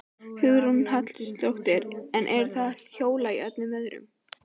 Hugrún Halldórsdóttir: En eru þau að hjóla í öllum veðrum?